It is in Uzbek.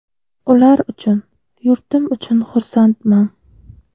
Ular uchun, yurtim uchun xursandman.